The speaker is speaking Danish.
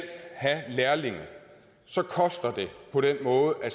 have lærlinge så koster det på den måde at